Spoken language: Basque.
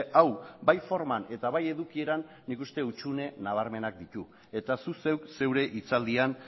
hau bai forman eta bai edukieran nik uste dut hutsune nabarmenak dituela eta zuk zeure hitzaldian